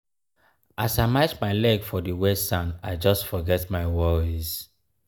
as i match my leg for di wet sand i just forget my worries.